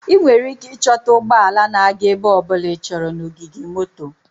Ị nwere ike ịchọta ụgbọ ala na-aga ebe ọ bụla ịchọrọ na ogige moto.